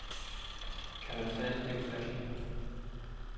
Kan man fatte det ufattelige.